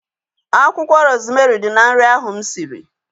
Akwụkwọ rozmerị dị na nri ahu mụ siri